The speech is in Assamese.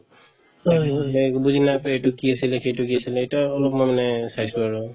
তাতে গৈ পেলাই একো বুজি নাপাই এইটো কি আছিলে সেইটো কি আছিলে এতিয়া অলপ মই মানে চাইছো আৰু